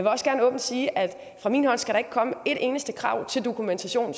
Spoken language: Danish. også gerne åbent sige at fra min hånd skal der ikke komme et eneste krav til dokumentation